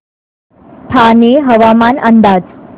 ठाणे हवामान अंदाज